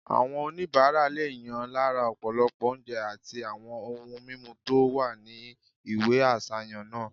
Àwọn oníbàárà lè yàn lára ọ̀pọ̀lọpọ̀ oúnjẹ àti àwọn ohun mímu tó wà ní ìwé àsàyàn náà